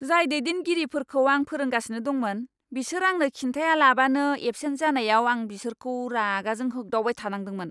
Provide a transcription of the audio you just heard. जाय दैदेनगिरिफोरखौ आं फोरोंगासिनो दंमोन, बिसोर आंनो खिन्थायालाबानो एबसेन्ट जानायाव आं बिसोरखौ रागाजों होग्दावबाय थानांदोंमोन!